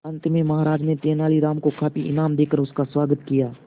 अंत में महाराज ने तेनालीराम को काफी इनाम देकर उसका स्वागत किया